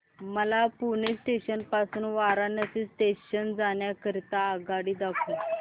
मला पुणे जंक्शन पासून वाराणसी जंक्शन जाण्या करीता आगगाडी दाखवा